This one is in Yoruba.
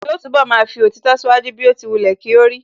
Yóò túnbọ̀ máa fi òtítọ́ ṣíwájú bí ó ti wulẹ̀ kí ó rí